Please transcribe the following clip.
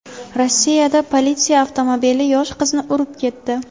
Rossiyada politsiya avtomobili yosh qizni urib ketdi.